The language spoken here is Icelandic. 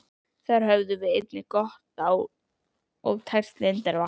Þar höfum við einnig gott og tært lindarvatn.